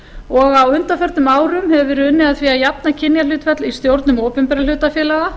og á undanförnum árum hefur verið unnið að því að jafna kynjahlutfall í stjórnun opinberra hlutafélaga